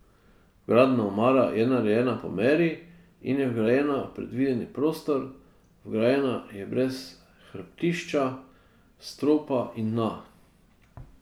Vgradna omara je narejena po meri in je vgrajena v predvideni prostor, vgrajena je brez hrbtišča, stropa in dna.